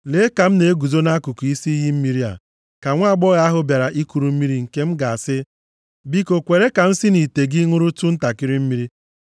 Lee, ka m na-eguzo nʼakụkụ isi iyi mmiri a, ka nwaagbọghọ ahụ bịara ikuru mmiri nke m ga-asị, “Biko kwere ka m si nʼite gị ṅụrụtụ ntakịrị mmiri,”